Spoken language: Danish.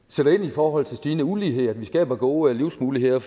forhold til stigende ulighed og at vi skaber gode livsmuligheder